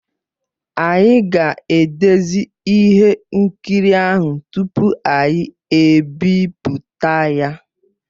Anyị ga-edezi ihe nkiri ahụ tupu anyị ebipụta ya.